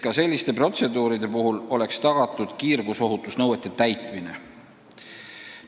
Ka selliste protseduuride puhul peab olema tagatud kiirgusohutusnõuete täitmine.